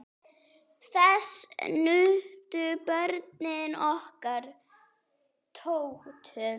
Þess nutu börnin okkar Tótu.